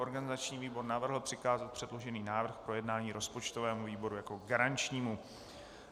Organizační výbor navrhl přikázat předložený návrh k projednání rozpočtovému výboru jako garančnímu.